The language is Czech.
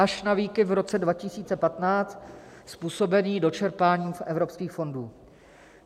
Až na výkyv v roce 2015 způsobený dočerpáním z evropských fondů.